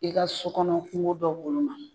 I ka so kɔnɔ kunko dɔ woloma.